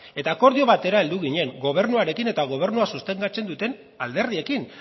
eta akordio batera heldu ginen gobernuarekin eta gobernua sostengatzen duten alderdiekin